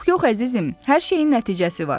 Yox, yox, əzizim, hər şeyin nəticəsi var.